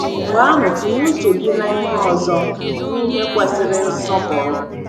Mgbe ahụ tinye uche gị n’ihe ọzọ — n’ihe kwesịrị nsọpụrụ.